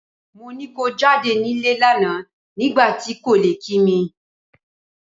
Mo ni ko jáde nílé lánàá nígbà tí ò kò lè kí mi.